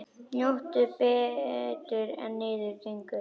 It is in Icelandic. Njóttu betur en niður gengur.